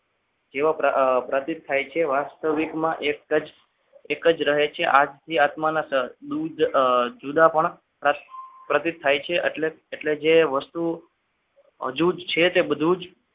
જેવા પ્રાદિપ્ત થાય છે વાસ વાસ્તવિકમાં એક જ એક જ રહે છે આથી આત્માના દૂધ જુદા પણ પ્રદિત થાય છે એટલે જે વસ્તુ અછૂત છે તે બધું જ